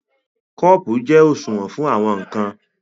Kọ́ọ̀pù jẹ́ òṣùwọ̀n fún àwọn ǹkan